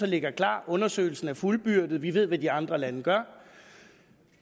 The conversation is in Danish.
ligger klar og undersøgelsen er fuldbyrdet vi ved hvad de andre lande gør